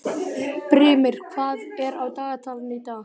Brimir, hvað er á dagatalinu í dag?